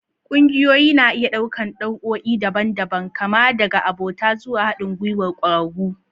Ƙungiyoyi na iya ɗaukar nau'o'i daban-daban, kama daga abota zuwa haɗin gwiwar ƙwararru.